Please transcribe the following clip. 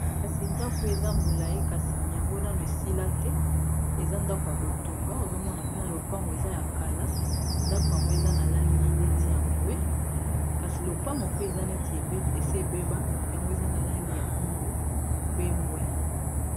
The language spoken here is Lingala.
kasi ndako eza molai kasi yango nanu esila te eza ndako ya kotonga ozomona pena lopango eza ya kala ndako yango eza na langi neti ya mbwe kasi lopango pe eza neti esi ebeba yango eza na langi ya mwindu pe mbwe